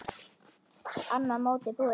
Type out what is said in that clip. Annað mótið búið!